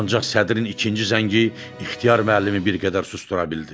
Ancaq sədrin ikinci zəngi ixtiyar müəllimi bir qədər susdura bildi.